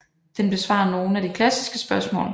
Den besvarer nogle af de klassiske spørgsmål